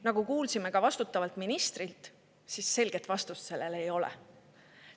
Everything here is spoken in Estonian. Nagu kuulsime vastutavalt ministrilt, siis selget vastust sellele ei ole.